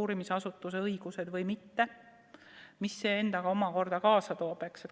uurimisasutuse õigused või mitte ja mida see endaga kaasa tooks?